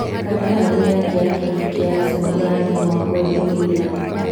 Kandarathi yake ya kĩrabu kĩa Arsenal ũrarĩka mwaka ũyũ ũgĩthira